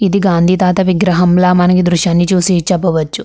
ఇది గాంధీ తాత విగ్రహంలా మనకి దృశ్యాన్ని చూసి చెప్పవచ్చు.